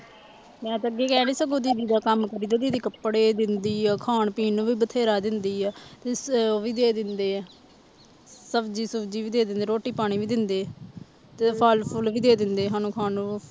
ਦੀਦੀ ਦਾ ਕੰਮ ਕਰੀ ਤੇ ਦੀਦੀ ਕੱਪੜੇ ਦਿੰਦੀ ਹੈ, ਖਾਣ ਪੀਣ ਨੂੰ ਵੀ ਬਥੇਰਾ ਦਿੰਦੀ ਹੈ ਤੇ ਉਹ ਵੀ ਦੇ ਦਿੰਦੇ ਹੈ ਸਬਜ਼ੀ ਸੁਬਜ਼ੀ ਵੀ ਦੇ ਦਿੰਦੇ ਹੈ ਰੋਟੀ ਪਾਣੀ ਵੀ ਦਿੰਦੇ ਹੈ ਤੇ ਫਲ ਫੁਲ ਵੀ ਦੇ ਦਿੰਦੇ ਸਾਨੂੰ ਖਾਣ ਨੂੰ।